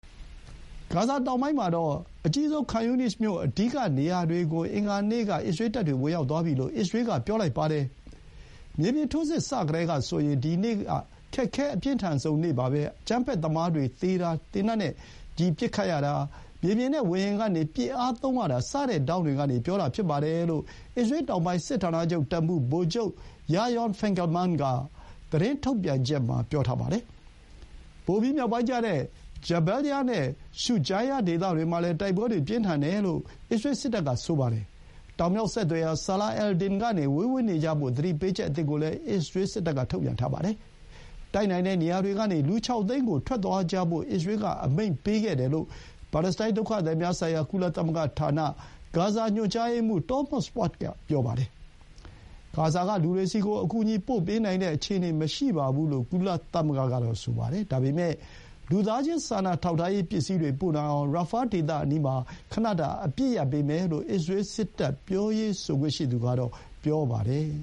ဂါဇာတောင်ပိုင်းကအကြီးဆုံး ခန်ယူနိစ်မြို့ အဓိကနေရာတွေကို အင်္ဂါနေ့ကတပ်တွေ ဝင်ရောက်သွားပြီလို့ အစ္စရေးက ပြောပါတယ်။ “မြေပြင်ထိုးစစ် စကတည်းကဆိုရင် ဒီနေ့က ခက်ခဲ အပြင်းထန်ဆုံးပါပဲ။ အကြမ်းဖက်သမားတွေ သေတာ၊ သေနတ်နဲ့ချည်းပစ်ခတ်ရတာ၊ မြေပြင်နဲ့ ဝေဟင်ကနေပစ်အားသုံးရတာ စတဲ့ထောင့်တွေက ပြောတာဖြစ်ပါတယ်” လို့ အစ္စရေးတောင်ပိုင်း စစ်ဌာနချုပ်တပ်မှူး ဗိုလ်ချုပ် ယာရောင်န် ဖင်ကယ်လ်မန်း (Maj. Gen. Yaron Finkelman) က သတင်းထုတ်ပြန်ချက်မှာ ပြောပါတယ်။ ပိုပြီး မြောက်ပိုင်းကျတဲ့ ဂျာဘယ်လ်ယား (Jabalya) နဲ့ ရှုဂျိုင်းယား (Shuja’iyya) ဒေသတွေမှာလည်း တိုက်ပွဲတွေ ပြင်းထန်တယ်လို့ အစ္စရေးစစ်တပ်က ဆိုပါတယ်။ တောင်မြောက်ဆက်သွယ်ရာ Salah al-Din ကနေ ဝေးဝေးနေကြဖို့ သတိပေးချက်အသစ်ကိုလည်း အစ္စရေးက ထုတ်ပြန်ထားပါတယ်။ တိုက်နိုင်တဲ့နေရာတွေကနေ လူ ၆ သိန်းကို ထွက်သွားကြဖို့ အစ္စရေးက အမိန့်ပေးခဲ့တယ်လို့ ပါလက်စတိုင်း ဒုက္ခသည်များဆိုင်ရာ ကုလသမဂ္ဂဌာန ဂါဇာညွှန်ကြားရေးမှူး Thomas White က ပြောပါတယ်။ ဂါဇာက လူတွေဆီကို အကူအညီပို့ပေးနိုင်တဲ့ အခြေအနေမရှိပါဘူးလို့ ကုလသမဂ္ဂက ဆိုပါတယ်။ ဒါပေမဲ့ လူသားချင်းစာနာထောက်ထားရေး ပစ္စည်းတွေ ပို့နိုင်အောင် ရာဖားဒေသအနီးမှာ ခဏတာ အပစ်ရပ်ပေးမယ်လို့ အစ္စရေးစစ်တပ် ပြောရေးဆိုခွင့်ရှိသူကတော့ ပြောပါတယ်။